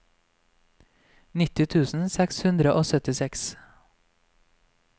nitti tusen seks hundre og syttiseks